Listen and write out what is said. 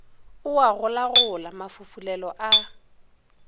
o a golagola mafufulelo a